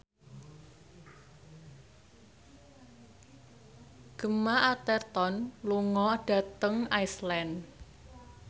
Gemma Arterton lunga dhateng Iceland